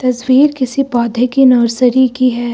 तस्वीर किसी पौधे की नर्सरी की है।